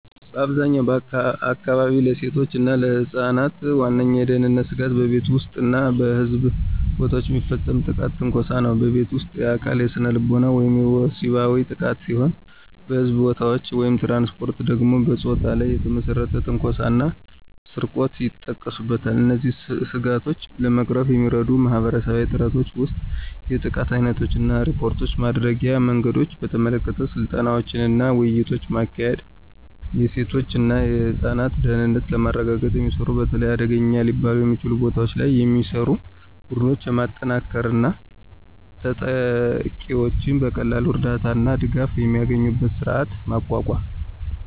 በአብዛኛዎቹ አካባቢዎች፣ ለሴቶች እና ለህፃናት ዋነኛው የደህንነት ስጋት በቤት ውስጥ እና በሕዝብ ቦታዎች የሚፈጸም ጥቃትና ትንኮሳ ነው። በቤት ውስጥ: የአካል፣ ስነልቦናዊ ወይም ወሲባዊ ጥቃት ሲሆን በሕዝብ ቦታዎች/ትራንስፖርት ደግሞ በፆታ ላይ የተመሰረተ ትንኮሳ እና ስርቆት ይጠቀሱበታል። እነዚህን ስጋቶች ለመቅረፍ የሚረዱ ማህበረሰባዊ ጥረቶች ውስጥ የጥቃት ዓይነቶችን እና ሪፖርት ማድረጊያ መንገዶችን በተመለከተ ስልጠናዎችንና ውይይቶችን ማካሄድ፤ የሴቶች እና ህፃናት ደህንነትን ለማረጋገጥ የሚሰሩ፣ በተለይ አደገኛ ሊባሉ በሚችሉ ቦታዎች ላይ የሚሰሩ፣ ቡድኖችን ማጠናከር እና ተጠቂዎች በቀላሉ እርዳታ እና ድጋፍ የሚያገኙበትን ስርዓት ማቋቋም።